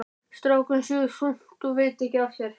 Strákurinn sefur þungt og veit ekki af sér.